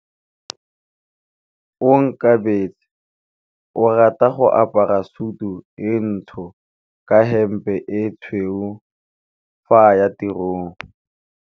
Onkabetse o rata go apara sutu e ntsho ka hempe e tshweu fa a ya tirong.